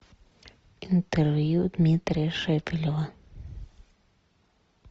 интервью дмитрия шепелева